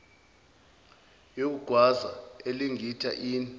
yokugwaza elingitta inn